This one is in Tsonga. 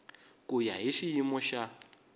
ku ya hi xiyimo xa